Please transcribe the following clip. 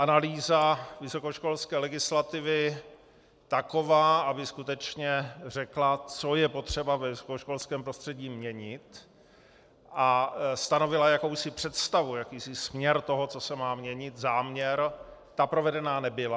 Analýza vysokoškolské legislativy taková, aby skutečně řekla, co je potřeba ve vysokoškolském prostředí měnit, a stanovila jakousi představu, jakýsi směr toho, co se má měnit, záměr, ta provedena nebyla.